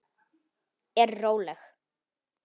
Er róleg.